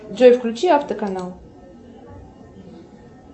джой включи авто канал